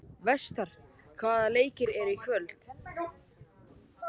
Vestar, hvaða leikir eru í kvöld?